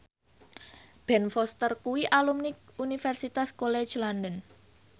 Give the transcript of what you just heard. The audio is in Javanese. Ben Foster kuwi alumni Universitas College London